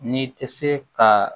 N'i tɛ se ka